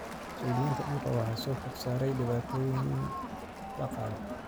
Mas�uuliyiinta dhulka waxaa soo food saartay dhibaatooyin dhaqaale.